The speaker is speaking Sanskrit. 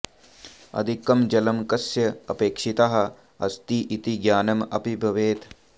अधिकं जलं कस्य अपेक्षितः अस्ति इति ज्ञानम् अपि भवेत्